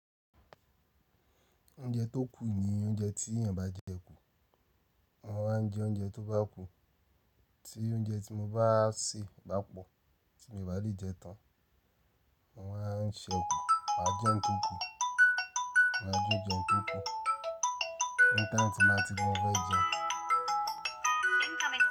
Oúnjẹ tó kù ni oúnjẹ tí èèyàn bá jẹ kú. Wọ́n máa ń jẹ oúnjẹ tó bá kù. Tí oúnjẹ tí mo bá sè bá pọ̀ tí mi o bá lè jẹ tán, mọ máa ń ṣe kù, màá jẹ ń tokú, màá jí jẹ ń tokú. Later tí n bá ti bá fe jẹun.